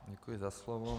Děkuji za slovo.